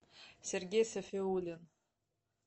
сергей сафиуллин